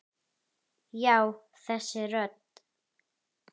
Já, þessi rödd.